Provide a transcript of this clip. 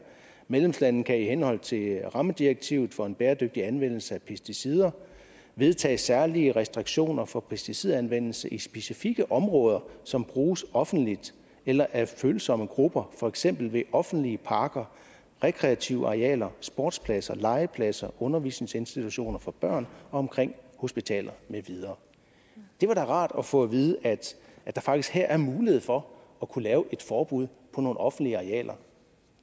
medlemslande kan i henhold til rammedirektivet for en bæredygtig anvendelse af pesticider vedtage særlige restriktioner for pesticidanvendelse i specifikke områder som bruges offentligt eller af følsomme grupper for eksempel ved offentlige parker rekreative arealer sportspladser legepladser undervisningsinstitutioner for børn og omkring hospitaler med videre det var da rart at få at vide at der faktisk her er mulighed for at kunne lave et forbud på nogle offentlige arealer